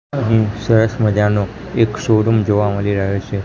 અહીં સરસ મજાનુ એક શોરુમ જોવા મલી રહ્યો છે.